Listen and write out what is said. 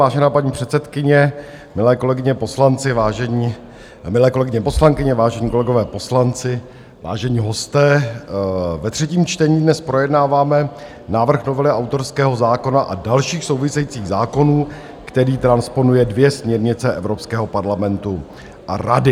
Vážená paní předsedkyně, milé kolegyně poslankyně, vážení kolegové poslanci, vážení hosté, ve třetím čtení dnes projednáváme návrh novely autorského zákona a dalších souvisejících zákonů, který transponuje dvě směrnice Evropského parlamentu a Rady.